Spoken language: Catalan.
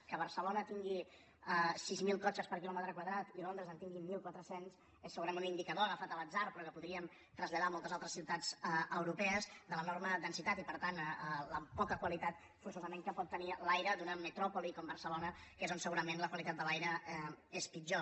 que barcelona tingui sis mil cotxes per quilòmetre quadrat i londres en tingui mil quatre cents és segurament un indicador agafat a l’atzar però que podríem traslladar a moltes altres ciutats europees de l’enorme densitat i per tant la poca qualitat forçosament que pot tenir l’aire d’una metròpoli com barcelona que és on segurament la qualitat de l’aire és pitjor